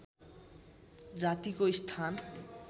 जातिको स्थान